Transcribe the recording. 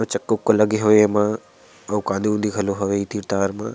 कुछ चक्का उक्का लगे हावय एमा आऊ कांदी ऊंदी घलो हावय ये तीर-तार मा--